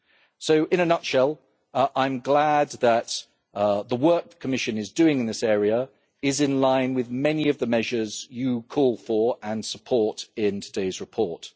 So in a nutshell, I am glad that the work the Commission is doing in this area is in line with many of the measures you call for and support in today's report.